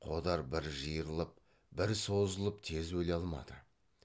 қодар бір жиырылып бір созылып тез өле алмады